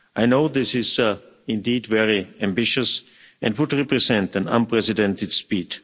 I know this is indeed very ambitious and would represent an unprecedented speed.